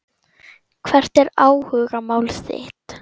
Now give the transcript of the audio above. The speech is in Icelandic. Hvert er áhugamál þitt?